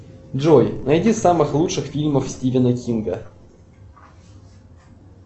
джой найди самых лучших фильмов стивена кинга